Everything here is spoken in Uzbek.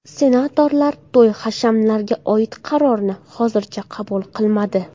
Senatorlar to‘y-hashamlarga oid qarorni hozircha qabul qilmadi.